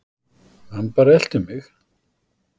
Hann bara elti mig.